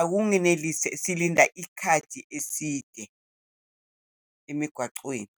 akungenelisi, silinda isikhathi eside emigwacweni.